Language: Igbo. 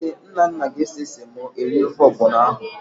Ee, Nnanna ga-ese semo eri ofe ọgbọnọ ahụ.